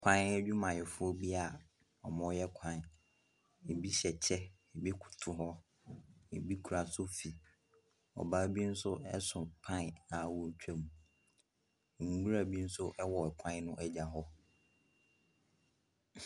Kwan adwumayɛfoɔ bi a wɔreyɛ kwan. Ɛbi hyɛ kyɛ, ɛbi koto hɔ, ɛbi kura sofi. Ɔbaa bi nso so pan a ɔretwam. Nwira bi nso wɔ kwan no agya hɔ.